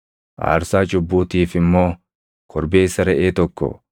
aarsaa cubbuutiif immoo korbeessa reʼee tokko,